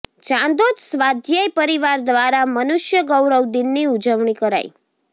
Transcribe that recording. ચાંદોદ સ્વાધ્યાય પરિવાર દ્વારા મનુષ્ય ગૌરવ દિનની ઉજવણી કરાઈ